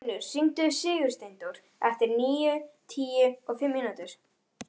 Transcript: Arnfinnur, hringdu í Sigursteindór eftir níutíu og fimm mínútur.